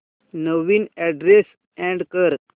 नवीन address add कर